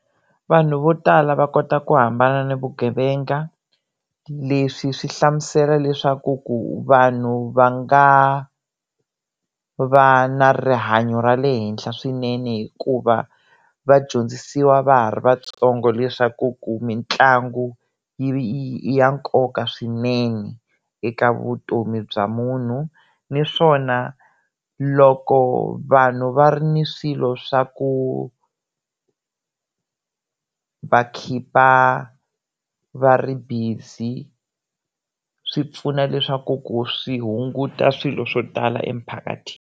Vanhu vo tala va kota ku hambana na vugevenga leswi swi hlamusela leswaku ku vanhu va nga va na rihanyo ra le henhla swinene hikuva vadyondzisiwa va ha ri vatsongo leswaku ku mitlangu i ya nkoka swinene eka vutomi bya munhu naswona loko vanhu va ri ni swilo swa ku va khipa va ri busy swi pfuna leswaku ku swi hunguta swilo swo tala emphakatini.